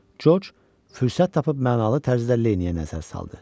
Corc fürsət tapıb mənalı tərzdə Leniyə nəzər saldı.